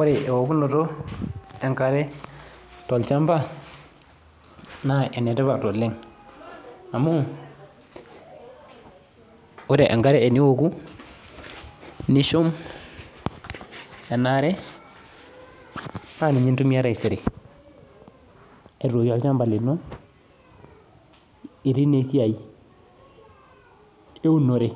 Ore eokuno enkare tolchamba, naa ene tipat oleng', amu ore enkare tenioku nishum enaare, naa ninye intumiya taisere abukoki olchamba lino itii naa esiai eunore